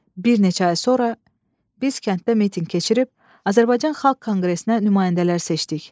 Bir neçə ay sonra biz kənddə mitinq keçirib Azərbaycan Xalq Konqresinə nümayəndələr seçdik.